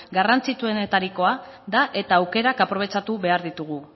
garrantzitsuenetarikoa da eta aukerak aprobetxatu behar ditugu